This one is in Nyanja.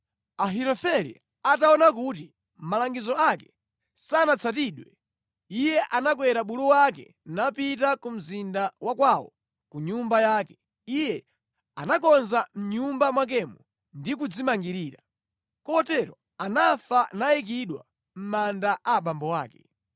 Ahitofele ataona kuti malangizo ake sanatsatidwe, iye anakwera bulu wake napita ku mzinda wa kwawo ku nyumba yake. Iye anakonza mʼnyumba mwakemo ndi kudzimangirira. Kotero anafa nayikidwa mʼmanda a abambo ake.